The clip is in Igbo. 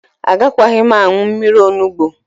Agakwaghị m aṅụ mmiri onugbo.